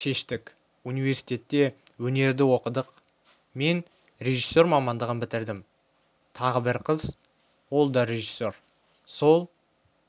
шештік университетте өнерді оқыдық мен режиссер мамандығын бітірдім тағы бір қыз ол да режиссер сол